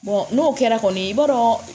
n'o kɛra kɔni i b'a dɔn